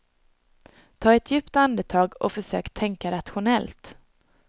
Ta ett djupt andetag och försök tänka rationellt.